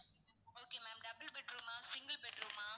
okay ma'am double bedroom ஆ single bedroom ஆ